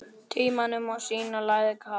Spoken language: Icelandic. Tímanum og Stína lagði kapal.